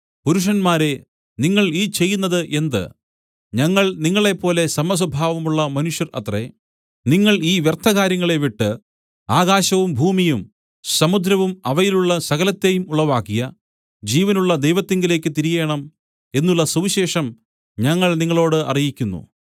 പുരുഷന്മാരേ നിങ്ങൾ ഈ ചെയ്യുന്നത് എന്ത് ഞങ്ങൾ നിങ്ങളേപ്പോലെ സമസ്വഭാവമുള്ള മനുഷ്യർ അത്രേ നിങ്ങൾ ഈ വ്യർത്ഥകാര്യങ്ങളെ വിട്ട് ആകാശവും ഭൂമിയും സമുദ്രവും അവയിലുള്ള സകലത്തേയും ഉളവാക്കിയ ജീവനുള്ള ദൈവത്തിങ്കലേക്ക് തിരിയേണം എന്നുള്ള സുവിശേഷം ഞങ്ങൾ നിങ്ങളോട് അറിയിക്കുന്നു